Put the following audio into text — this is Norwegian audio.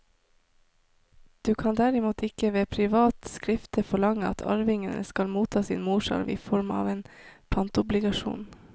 Du kan derimot ikke ved privat skifte forlange at arvingene skal motta sin morsarv i form av en pantobligasjon.